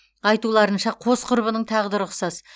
айтуларынша қос құрбының тағдыры ұқсас